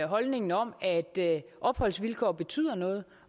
holdningen om at opholdsvilkår betyder noget